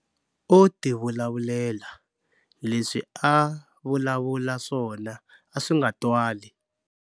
O tivulavulela, leswi a a vulavula swona a swi nga twali.